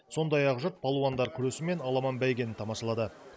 сондай ақ жұрт палуандар күресі мен аламан бәйгені тамашалады